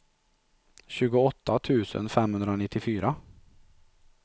tjugoåtta tusen femhundranittiofyra